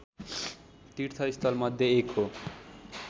तीर्थ स्थलमध्ये एक हो